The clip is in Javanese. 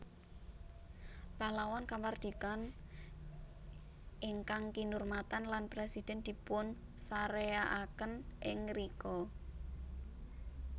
Pahlawan Kamardikaan ingkang kinurmatan lan presiden dipunsareaken ing ngrika